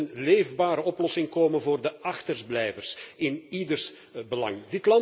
Er moet een leefbare oplossing komen voor de achterblijvers in ieders belang.